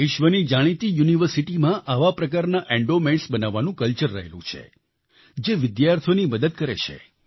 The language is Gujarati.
વિશ્વની જાણીતી યુનિવર્સિટીમાં આવા પ્રકારના એન્ડોમેન્ટ્સ બનાવવાનું કલ્ચર રહેલું છે જે વિદ્યાર્થીઓની મદદ કરે છે